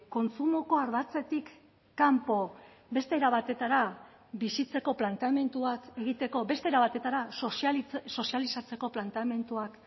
kontsumoko ardatzetik kanpo beste era batetara bizitzeko planteamenduak egiteko beste era batetara sozializatzeko planteamenduak